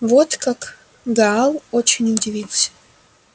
вот как гаал очень удивился